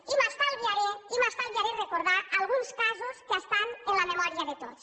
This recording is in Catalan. i m’estalviaré i m’estalviaré recordar alguns casos que estan en la memòria de tots